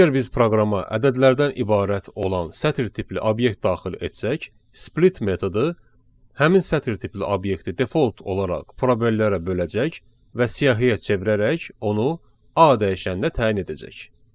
Əgər biz proqrama ədədlərdən ibarət olan sətir tipli obyekt daxil etsək, split metodu həmin sətir tipli obyekti default olaraq probellərə böləcək və siyahıya çevirərək onu A dəyişəninə təyin edəcək.